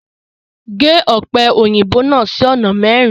Gẹ́ òpẹ́ oyinbó náà sí ọ̀nà mẹrin!